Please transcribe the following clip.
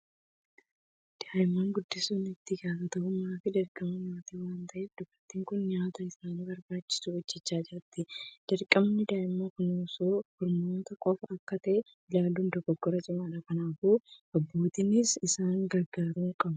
Daa'imman guddisuun itti gaafatamummaa fi dirqama maatii waan ta'eef, dubartiin kun nyaata isaaniif barbaachisu hojjechaa jirti. Dirqamni daa'imman kunuunsuu harmootii qofaa akka ta'etti ilaaluun dogoggora cimaadha. Kanaafuu, abbootiinis isaan gargaaruu qabu.